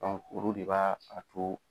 Dɔn kuru de b'aa a to